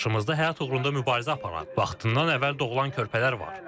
Qarşımda həyat uğrunda mübarizə aparan, vaxtından əvvəl doğulan körpələr var.